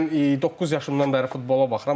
Hə, mən doqquz yaşımdan bəri futbola baxıram.